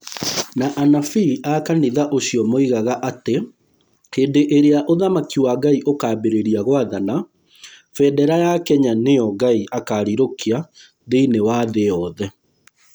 Na anabii a kanitha ũcio moigaga atĩ hĩndĩ ĩrĩa ũthamaki wa Ngai ũkaambĩrĩria gwathana, bendera ya Kenya nĩyo Ngai akaarirũkia thĩinĩ wa thĩ yothe